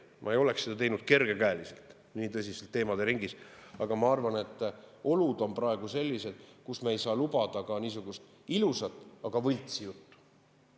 Ma ei oleks seda nii tõsiste teemade puhul nii kergekäeliselt teinud, aga ma arvan, et olud on praegu sellised, et me ei saa lubada ka niisugust ilusat, aga võltsi juttu.